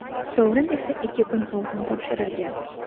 sovrin esa ikki kun oldin topshirilgan.